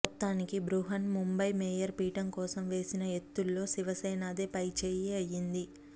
మొత్తానికి బృహన్ ముంబై మేయర్ పీఠం కోసం వేసిన ఎత్తుల్లో శివసేన దే పైచేయి అయ్యింది